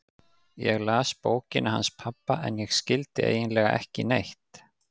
Ég las bókina hans pabba en ég skildi eiginlega ekki neitt.